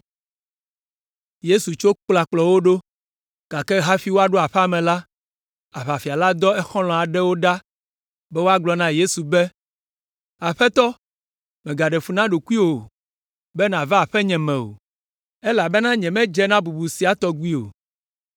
Yesu tso kpla kplɔ wo ɖo. Gake hafi wòaɖo aƒea me la, aʋafia la dɔ exɔlɔ̃ aɖewo ɖa be woagblɔ na Yesu be, “Aƒetɔ, mègaɖe fu na ɖokuiwò be nàva nye aƒe me o, elabena nyemedze na bubu sia tɔgbi o.